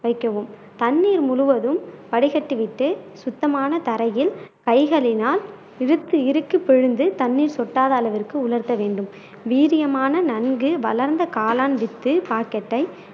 வைக்கவும் தண்ணீர் முழுவதும் வடிகட்டி விட்டு சுத்தமான தரையில் கைகளினால் இழுத்து இறுக்கி பிழிந்து தண்ணீர் சொட்டத அளவிற்கு உலர்த்த வேண்டும் வீரியமான நன்கு வளர்ந்த காளான் வித்து பாக்கெட்டை